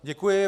Děkuji.